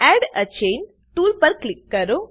add a chain tool પર click કરો